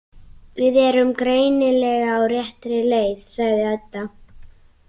Við erum greinilega á réttri leið, sagði Edda.